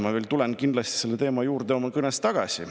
Ma tulen oma kõnes kindlasti veel selle teema juurde tagasi.